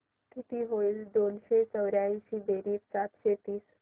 किती होईल दोनशे चौर्याऐंशी बेरीज सातशे तीस